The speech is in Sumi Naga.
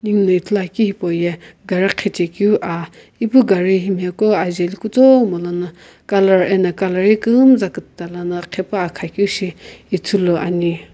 ninguo no ithulu akeu hipou ye gari ghijae keu ah ipu gari ko ajaeli kutomo no colour ano colour kumzap kupta lono ghipa keu shi ithulu ane.